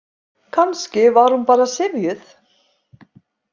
Kannski var hún bara syfjuð.